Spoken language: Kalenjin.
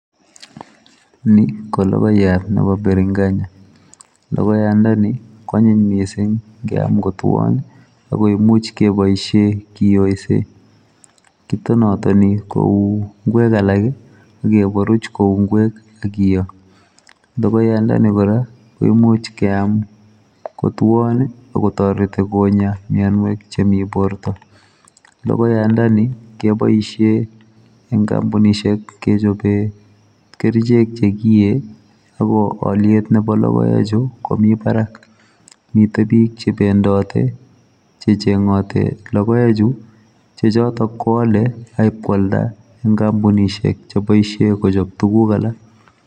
ni kologoyat nebo biringanya lokoyandoni kwanyiny mising ngeam kotuon akoimuch keboisie kioise kitonatoni kou ingwek alak akeburuch kou ngwek akio lokoyandoni kora komuch keam kutuon akotoreti konya mianwek chemi borto logoyandoni keboishe eng kampunisiek kechobe kerichek chekiee ako oliet nebo lokoechu komi barak mite bik chebendoti chechengoti lokoechu chechotok koale akipkoalda eng kampunisiek cheboisie kochop tuguk alak